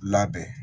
Labɛn